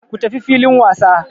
Ku tafi filin wasa!